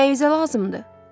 Nəyinizə lazımdır?